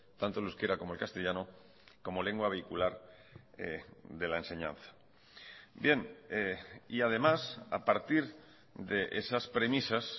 tanto el euskera como el castellano como lengua vehicular de la enseñanza bien y además a partir de esas premisas